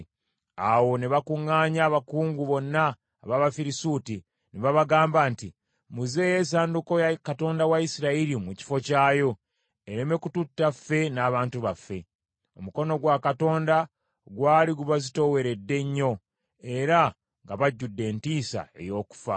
Awo ne bakuŋŋaanya abakungu bonna ab’Abafirisuuti, ne babagamba nti, “Muzzeeyo essanduuko ya Katonda wa Isirayiri mu kifo kyayo, ereme kututta ffe n’abantu baffe.” Omukono gwa Katonda gwali gubazitooweredde nnyo era nga bajjudde entiisa ey’okufa.